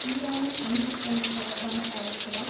ஈரானின் அணு திட்டங்கள் தொடர்பான கவலைகளால்